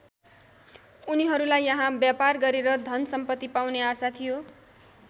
उनीहरूलाई यहाँ व्यापार गरेर धन सम्पत्ति पाउने आशा थियो।